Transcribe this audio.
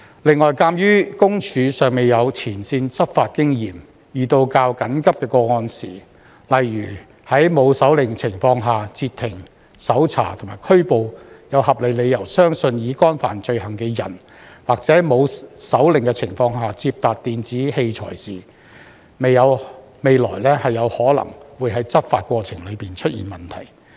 此外，鑒於私隱公署尚未有前線執法經驗，遇到較緊急的個案時，例如在沒有手令的情況下截停、搜查及拘捕有合理理由相信已干犯罪行的人，或在沒有手令的情況下接達電子器材時，未來可能會在執法過程中出現問題。